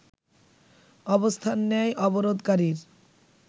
অবস্থান নেয় অবরোধকারীর